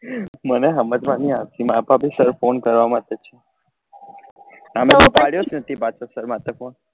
મને હમજ માં ની આવતી ફોન કરવા માટે તમે તો પડ્યો જ નથી પાછો sir માથે phone